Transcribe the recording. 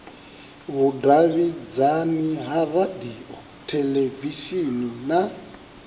vhudavhidzani ha radio theḽevishini na